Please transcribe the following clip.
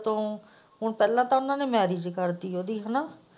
ਤੂੰ ਹੁਣ ਪਹਿਲਾਂ ਤਾਂ ਉਹਨੇ ਮੈਰਿਜ ਕਰ ਦਿੱਤੀ ਉਹ ਦੀ ਹੇਨਾ।